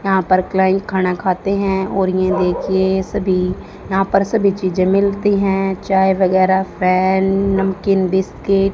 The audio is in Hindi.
यहां पर क्लाइंट खाना खाते हैं और ये देखिए सभी यहां पर सभी चीजे मिलती हैं चाय वगैरा फैन नमकीन बिस्कुट --